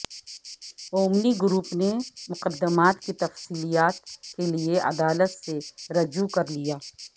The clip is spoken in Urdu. اومنی گروپ نے مقدمات کی تفصیلات کیلئے عدالت سے رجوع کرلیا